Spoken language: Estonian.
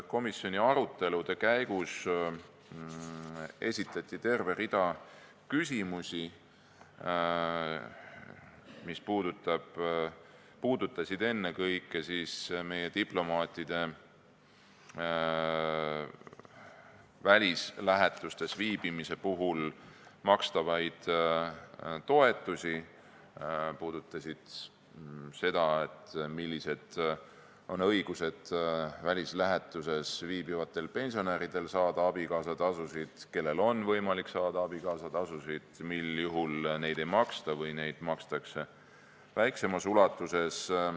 Komisjoni arutelude käigus esitati terve rida küsimusi, mis puudutasid ennekõike meie diplomaatide välislähetuses viibimise puhul makstavaid toetusi, seda, milline on välislähetuses viibivate pensionäride õigus saada abikaasatasu, kellel on võimalik saada abikaasatasu ning millisel juhul seda ei maksta või makstakse väiksemas ulatuses.